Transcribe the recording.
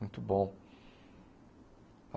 Muito bom.